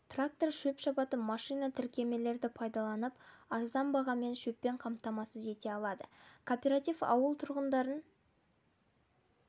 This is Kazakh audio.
трактор шөп шабатын машина тіркемелерді пайдаланып арзан бағамен шөппен қамтамасыз ете алады кооператив ауыл тұрғындарын